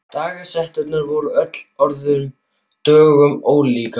Dagar hjásetunnar voru öllum öðrum dögum ólíkir.